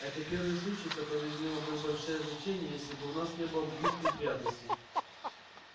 это первый случай который имел бы большое значение если бы у нас не было других неприятностей